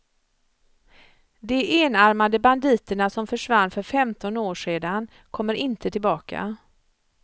De enarmade banditerna som försvann för femton år sedan kommer inte tillbaka.